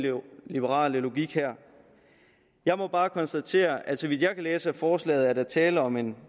liberale logik her jeg må bare konstatere at så vidt jeg kan læse ud af forslaget er der tale om en